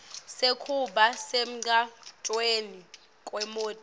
sekuba semgwacweni kwemoti